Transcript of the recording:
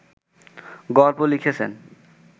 গল্প লিখেছেন